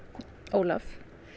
Ólaf